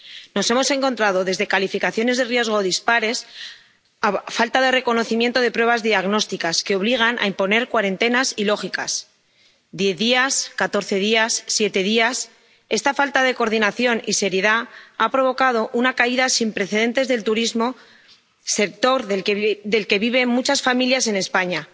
Nos hemos encontrado desde calificaciones de riesgo dispares a falta de reconocimiento de pruebas diagnósticas, que obligan a imponer cuarentenas ilógicas diez días, catorce días, siete días. Esta falta de coordinación y seriedad ha provocado una caída sin precedentes del turismo, sector del que viven muchas familias en España.